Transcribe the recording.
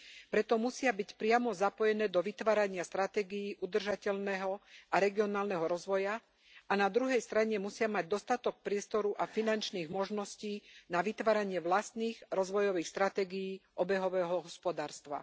Preto musia byť priamo zapojené do vytvárania stratégií udržateľného a regionálneho rozvoja a na druhej strane musia mať dostatok priestoru a finančných možností na vytváranie vlastných rozvojových stratégií obehového hospodárstva.